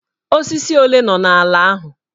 Osisi ole nọ n'ala ahụ?